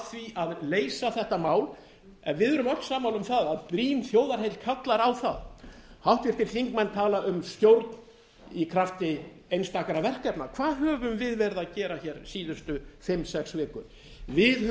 því að leysa þetta mál en við erum öll sammála um að brýn þjóðarheill kallar á það háttvirtir þingmenn tala um stjórn í krafti einstakra verkefna hvað höfum við verið að gera síðustu fimm til sex vikur við